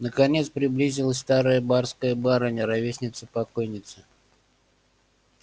наконец приблизилась старая барская барыня ровесница покойницы